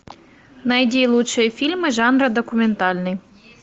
найди лучшие фильмы жанра документальный